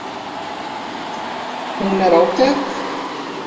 Hún er ágæt.